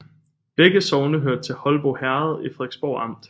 Begge sogne hørte til Holbo Herred i Frederiksborg Amt